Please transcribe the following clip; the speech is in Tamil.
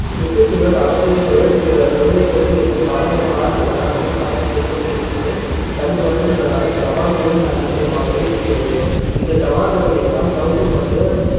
சுற்றுச்சூழல் அரசியல் தொழில் பே~ தொழில் போட்டி என்று பல வித ளால் விவசாயம் செய்வது என்பது சமீப வருடங்களாக சவால் விடும் அஹ் விஷயமாகவே இருக்கிறது இந்த சவால்களை எல்லாம் சவுக்கு கொண்டு